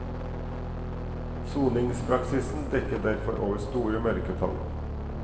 Soningspraksisen dekker derfor over store mørketall.